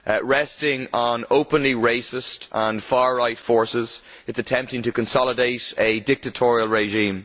Resting on openly racist and far right forces, it is attempting to consolidate a dictatorial regime.